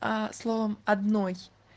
а словом одной